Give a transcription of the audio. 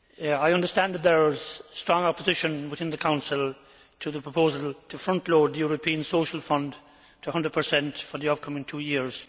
I understand that there is strong opposition within the Council to the proposal to frontload the European Social Fund to 100 for the upcoming two years.